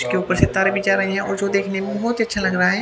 इसके ऊपर से तारे भी जा रहे हैं और जो देखने को बहुत ही अच्छा लग रहा है।